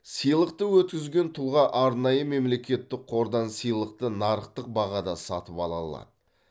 сыйлықты өткізген тұлға арнайы мемлекеттік қордан сыйлықты нарықтық бағада сатып ала алады